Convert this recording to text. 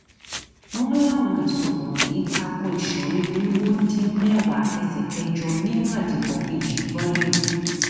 wọn láwọn ẹsùn wọnyí ta ko ìsọrí irínwó dín mẹwàá ẹsẹ kẹjọ nínú àdìpọ kejì vol